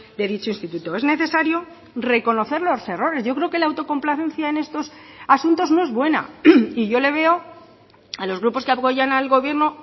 de dicho instituto es necesario reconocer los errores yo creo que la autocomplacencia en estos asuntos no es buena y yo le veo a los grupos que apoyan al gobierno